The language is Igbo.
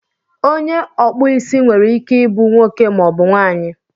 onye ọkpụ isi nwere ike ịbụ nwoke maọbụ nwaanyị